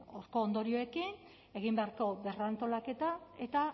horko ondorioekin egin beharreko berrantolaketa eta